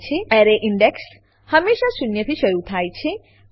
અરે index array index હંમેશા શૂન્યથી શરુ થાય છે